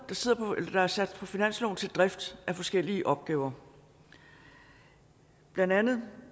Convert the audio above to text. der er sat på finansloven til drift af forskellige opgaver blandt andet